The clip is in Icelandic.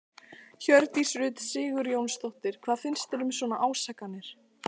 Hjördís Rut Sigurjónsdóttir: Hvað finnst þér um svona ásakanir?